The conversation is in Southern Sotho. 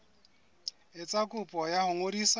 etsa kopo ya ho ngodisa